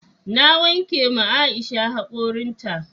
Na wanke ma Aisha hakorin ta